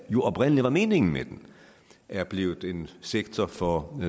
jo oprindelig var meningen med den er blevet en sektor for